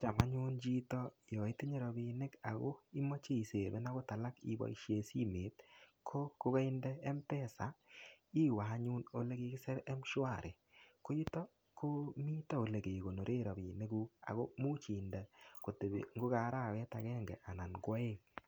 Cham anyun chito yo itinye rapinik ago imache isepen agot alak che moche iboisien simet ko, kogainde Mpesa iwe anyun olekigisir Mshwari. Ko yuto koomito olegegonoren rapinikuk ago much inde kotepi ngo ka arawet agenge anan ko aeng.